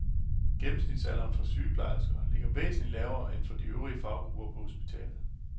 Gennemsnitsalderen for sygeplejersker ligger væsentligt lavere end for de øvrige faggrupper på hospitalet.